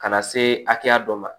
Ka na se hakɛya dɔ ma